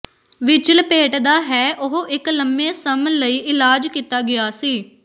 ਵਿੱਚ ਲਪੇਟਦਾ ਹੈ ਉਹ ਇੱਕ ਲੰਮੇ ਸਮ ਲਈ ਇਲਾਜ ਕੀਤਾ ਗਿਆ ਸੀ